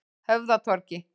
Höfðatorgi